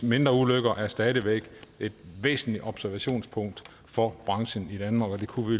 mindre ulykker er stadig væk et væsentligt observationspunkt for branchen i danmark og det kunne vi